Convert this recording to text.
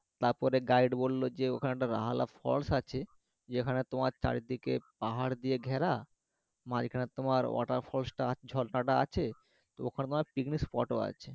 তারপরে গাইড বললো যে ওখানটায় ফলস আছে যেখানে তোমার চারিদিকে পাহাড় দিয়ে ঘেরা মাঝখানে তোমার ওয়াটার ফলস টা ঝর্ণা টা আছে ওখানে পিকনিক স্পটও আছে